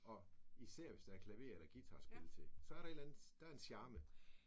Og især hvis der er klaver eller guitarspil til så er der et eller andet der er en charme